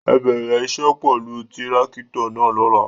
Ẹ bẹrẹ iṣẹ pẹlú tirakito náa lọla!